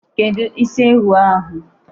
Kedụ isi ewu ahụ?